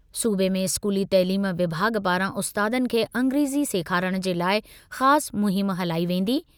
सूबे में इस्कूली तइलीम विभाॻु पारां उस्तादनि खे अंग्रेज़ी सेखारणु जे लाइ ख़ासि मुहिम हलाई वेंदी।